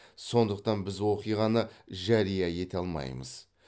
сондықтан біз оқиғаны жария ете алмаймыз